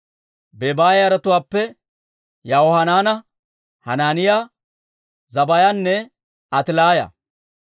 Bebaaya yaratuwaappe Yahohanaana, Hanaaniyaa, Zabbaayanne Atilaaya.